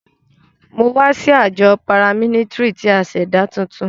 Mo wa si ajọ paramilitary ti a ṣẹda tuntun.